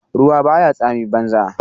Ruwa baya tsami banza.